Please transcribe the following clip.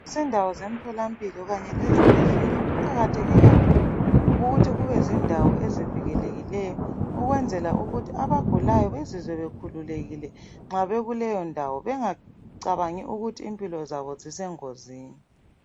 Izindawo zomtholampilo kanye lezibhedlela kuqakatheke kakhulu ukuthi kube zindawo ezivikelekileyo ukwenzela ukuthi abagulayo bazizwe bakhululekile nxa bekuleyo ndawo bengacabangi ukuthi impilo zabo zise ngozini